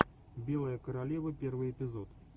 белая королева первый эпизод